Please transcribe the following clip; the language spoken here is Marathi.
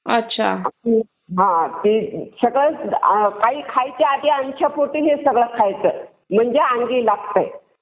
सकाळी काही खायच्या आधी अनोश्या पोटी हे सगळं खायचं म्हणजे अंगी लागतंय.